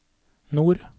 nord